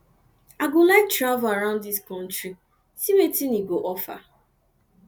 i go like to travel around dis country see wetin wetin e go offer